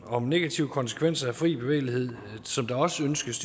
om negative konsekvenser af fri bevægelighed som der også ønskes